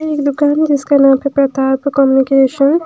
एक दुकान है जिसका नाम प्रताप कम्युनिकेशन --